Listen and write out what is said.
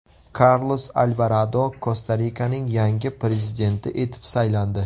Karlos Alvarado Kosta-Rikaning yangi prezidenti etib saylandi.